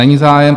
Není zájem.